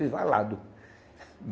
Fiz valado.